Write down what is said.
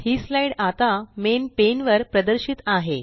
ही slide आता main pane वर प्रदर्शित आहे